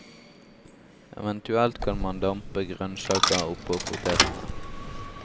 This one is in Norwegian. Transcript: Eventuelt kan man dampe grønnsaker oppå potetene.